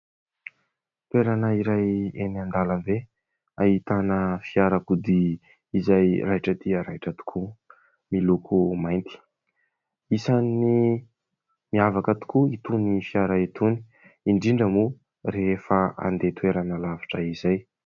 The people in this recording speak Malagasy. Toerana iray eny an-dalambe ahitana fiarakodia, izay raitra dia raitra tokoa, miloko mainty. Isany miavaka tokoa itony fiara itony, indrindra moa rehefa handeha toerana lavitra izay.